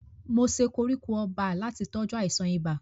Mo se koríko ọba láti tọ́jú àìsàn ibà.